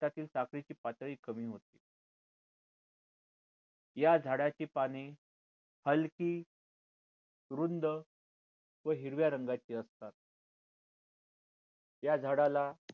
रक्तातील साखरची पातळी कमी होती या झाडा चे पाने हलकी रुंद व हिरव्या रंगा ची असतात या झाडा ला